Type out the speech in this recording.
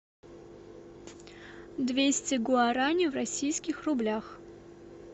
двести гуарани в российских рублях